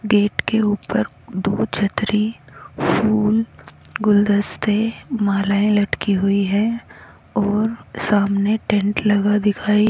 gate के ऊपर दो छतरी फूल गुलदस्ते मालाये लटकी हुई है और सामने टेंट लगा दिखाई--